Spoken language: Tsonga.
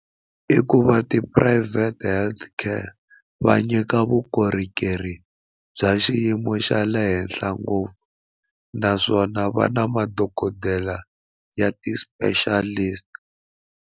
I ku va tiphurayivhete health care va nyika vukorhokeri bya xiyimo xa le henhla ngopfu naswona va na madokodela ya ti-specialist.